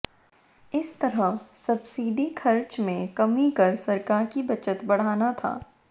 इस तरह सब्सिडी खर्च में कमी कर सरकार की बचत बढ़ाना था